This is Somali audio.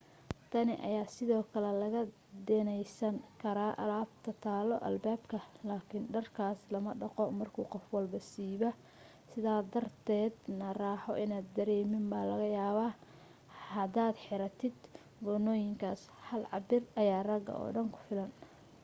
tani ayaa sidoo kale laga deynsan karaa alaabta taalo albaabka laakin dharkaas lama dhaqo markuu qof walbo siibo sidaa darteeda na raaxo inaad dareemin baa laga yaabaa hadaad xiratid goonooyinkaas hal cabbir ayaa ragga oo dhan ku filan